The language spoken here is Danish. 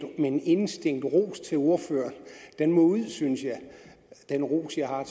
med en indestængt ros til ordføreren den må ud synes jeg den ros jeg har